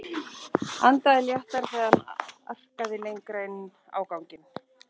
Andaði léttar þegar hann arkaði lengra inn á ganginn.